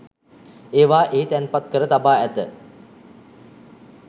ඒවා එහි තැන්පත් කර තබා ඇත